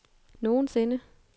nogensinde